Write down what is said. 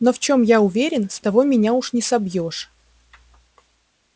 но в чем я уверен с того меня уж не собьёшь